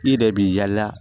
I yɛrɛ b'i yala